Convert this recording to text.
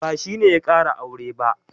Ba shi ne ya ƙara aure ba.